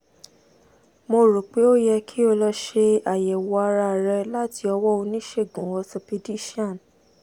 mo rò pé ó yẹ kí o lọ ṣe àyẹ̀wò ara rẹ láti ọwọ́ oníṣègùn orthopaedician